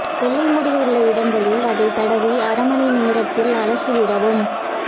வெள்ளை முடி உள்ள இடங்களில் அதைத் தடவி அரை மணி நேரத்தில் அலசிவிடவும்